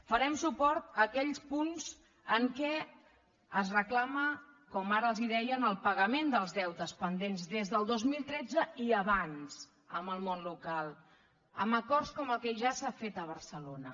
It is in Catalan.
farem suport a aquells punts en què es reclama com ara els deia en el pagament dels deutes pendents des del dos mil tretze i abans al món local amb acords com el que ja s’ha fet a barcelona